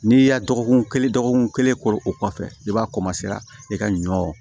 N'i y'a dɔgɔkun kelen dɔgɔkun kelen kori o kɔfɛ i b'a i ka ɲɔ